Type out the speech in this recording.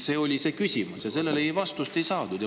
See oli küsimus ja sellele vastust me ei saanud.